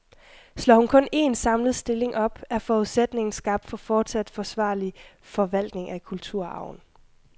Slår hun kun en, samlet stilling op, er forudsætningen skabt for fortsat forsvarlig forvaltning af kulturarven.